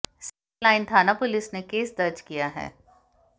civil line थाना police ने case दर्ज किया है